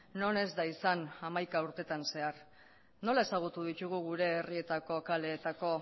non ez da izan hamaika urtetan zehar nola ezagutu ditugu gure herrietako kaleetako